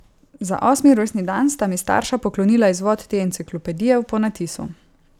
Za osmi rojstni dan sta mi starša poklonila izvod te enciklopedije v ponatisu.